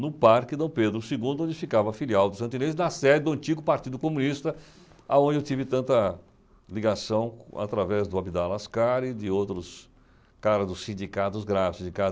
No Parque Dom Pedro Segundo, onde ficava a filial dos, na sede do antigo Partido Comunista, aonde eu tive tanta ligação, através do Abidal Alaskar e de outros caras dos sindicatos gráficos,